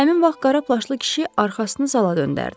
Həmin vaxt qara plaşlı kişi arxasını zala döndərdi.